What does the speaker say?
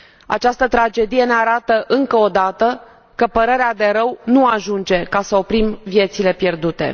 Această tragedie ne arată încă o dată că părerea de rău nu ajunge ca să oprim viețile pierdute.